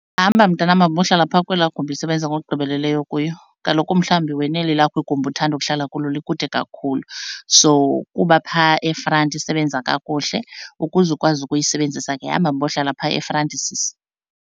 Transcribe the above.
Hamba mntanam, hambohlala phaa kwelaa gumbi isebenza ngokugqibeleleyo kuyo. Kaloku mhlawumbi wena eli lakho igumbi othanda ukuhlala kulo likude kakhulu, so kuba phaa efranti isebenza kakuhle ukuze ukwazi ukuyisebenzisa ke hamba hambohlala phaa efranti sisi.